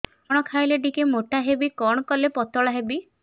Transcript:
କଣ ଖାଇଲେ ଟିକେ ମୁଟା ହେବି କଣ କଲେ ପତଳା ହେବି